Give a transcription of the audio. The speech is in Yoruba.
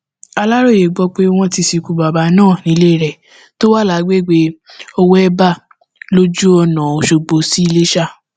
aláròyé gbọ pé wọn ti sìnkú bàbà náà nílé rẹ tó wà lágbègbè owóébà lójú ọnà ọṣọgbó sí iléṣà